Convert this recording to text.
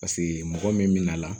Paseke mɔgɔ min bɛna a la